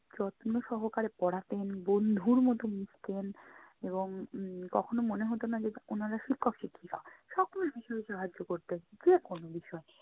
যত্ন সহকারে পড়াতেন বন্ধুর মতো মিশতেন এবং উম কখনও মনে হতো না যে উনারা শিক্ষক শিক্ষিকা। সকল বিষয়ে সাহায্য করতেন যে কোনো বিষয়ে।